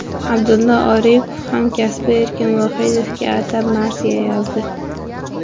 Abdulla Oripov hamkasbi Erkin Vohidovga atab marsiya yozdi.